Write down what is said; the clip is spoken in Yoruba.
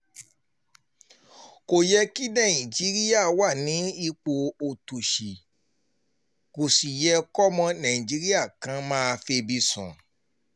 kò yẹ kí nàìjíríà wà nípò òtòṣì kó sì yẹ kọ́mọ nàìjíríà kan máa febi sùn